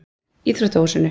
Íþróttahúsinu